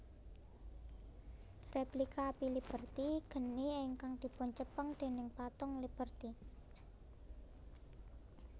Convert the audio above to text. Replika Api Liberty geni ingkang dipuncepeng déning Patung Liberty